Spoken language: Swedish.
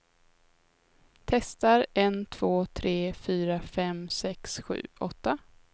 Testar en två tre fyra fem sex sju åtta.